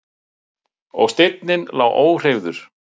Og steinninn lá óhreyfður.